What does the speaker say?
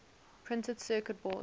printed circuit boards